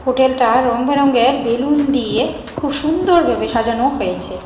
Hotel টা রংবেরঙের বেলুন দিয়ে খুব সুন্দর ভাবে সাজানো হয়েছে।